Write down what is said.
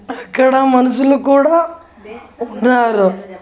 అక్కడ మనుషులు కూడా ఉన్నారు.